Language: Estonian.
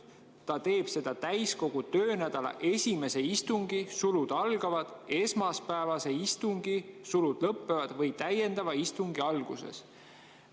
Ta teeb seda täiskogu töönädala esimese istungi või täiendava istungi alguses.